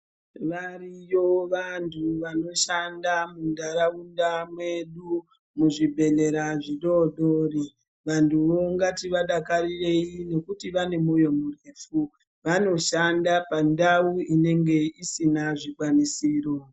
Variyo vanthu vanoshanda muntharaunda mwedu muzvibhedhlera zvidoodori. Vanthuvo ngativadakarirei nokuti vane mwoyo murefu. Vanoshanda pandau inenge isina zvikwanisiro.